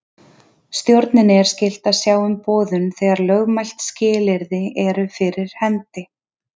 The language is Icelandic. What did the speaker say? Stjórninni er skylt að sjá um boðun þegar lögmælt skilyrði eru fyrir hendi.